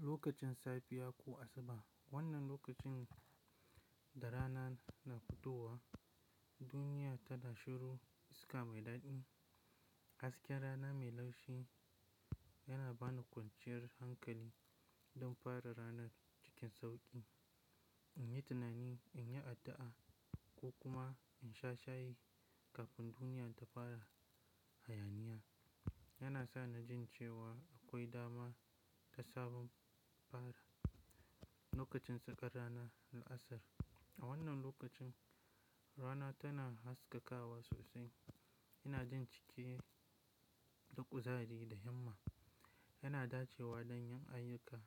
Lokacin safiya ko asuba, wannan lokacin da rana na futowa, duniya tana shiru, iska mai daɗi. Hasken rana mai laushi yana ba ni kwanciyar hankali, don fara ranar cikin sauƙi, in yi tunani, in yi addu'a, ko kuma in sha shayi kafin duniya ta fara hayaniya. Yana sa na jin cewa akwai dama, ga sabon fara. Lokacin tsakar rana da asar, a wannan lokacin, rana tana haskakawa sosai, yana jin ciki, duƙuzari da himma. Yana dace wa don yin ayyuka,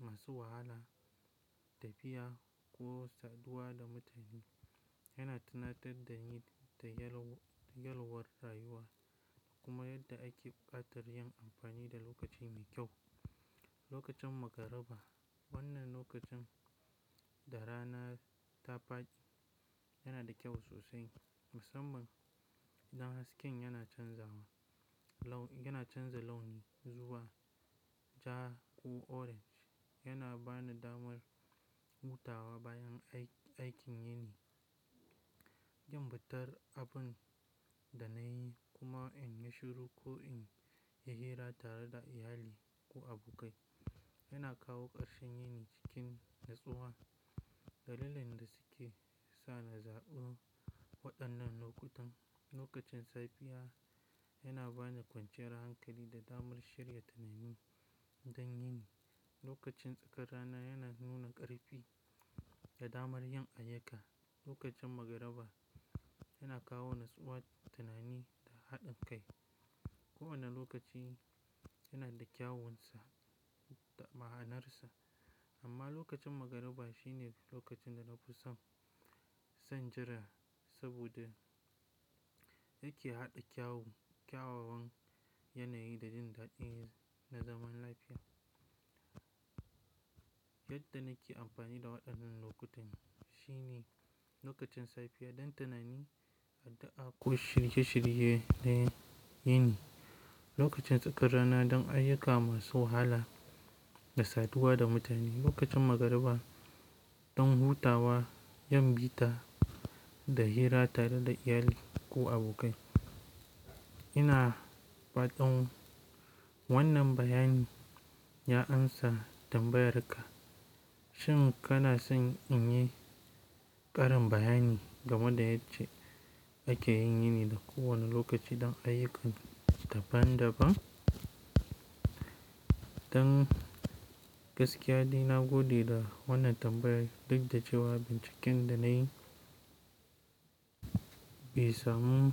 masu wahala, tafiya, ko saduwa da mutane. Yana tunatar da ni da yalwar rayuwa, kuma yadda ake buƙatar yin amfani da lokaci mai kyau. Lokacin magariba, wannan lokacin, da rana ta faɗi yana da kyau sosai. Musamman, don hasken yana canzawa, laun, yana canza launi zuwa, ja ko orange. Yana ba ni damar, hutawa bayan aikin yini, yin bitar abun da na yi kuma in yi shiru ko in yi hira tare da iyali, ko abokai. Yana kawo ƙarshen yini, cikin natsuwa. Dalilin da suke sa na zaɓo, waɗannan lokutan, lokacin safiya yana ba ni kwanciyar hankali da damar shirya tunani don yini. Lokacin tsakar rana yana nuna ƙarfi da damar yin ayyuka. Lokacin magariba yana kawo natsuwa, tunani da haɗin kai. Kowane lokaci yana da kyawunsa, da ma'anarsa, amma lokacin magariba shine lokacin da na fi son, son jira saboda yake haɗa kyawun, kyawawan yanayi da jin daɗin na zaman lafiya. Yadda na ke amfani da waɗannan lokutan, shine, lokacin safiya don tunani, addu'a ko shirye-shirye na yini. Lokacin tsakar rana don ayyuka masu wahala da saduwa da mutane. Lokacin magariba don hutawa, yin bita da hira tare da iyali ko abokai. Ina fatan, wannan bayani, ya amsa tambayar ka? Shin kana son in yi? Ƙarin bayani, game da yadda ake yin yini da kowane lokaci don ayyukan, daban-daban? Don, gaskiya, ina godiya da wannan tambayar duk da cewa binciken da na yi bai samu.